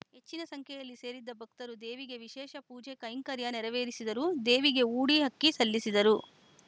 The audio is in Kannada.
ಹೆಚ್ಚಿನ ಸಂಖ್ಯೆಯಲ್ಲಿ ಸೇರಿದ್ದ ಭಕ್ತರು ದೇವಿಗೆ ವಿಶೇಷ ಪೂಜೆ ಕೈಂಕರ್ಯ ನೆರವೇರಿಸಿದರು ದೇವಿಗೆ ಊಡಿ ಅಕ್ಕಿ ಸಲ್ಲಿಸಿದರು